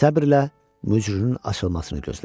Səbrlə mücrünün açılmasını gözlədi.